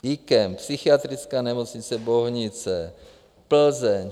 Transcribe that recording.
IKEM, Psychiatrická nemocnice Bohunice, Plzeň.